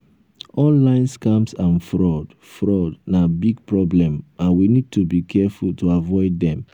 online scams and fraud fraud na big problem and we need to be careful to avoid dem.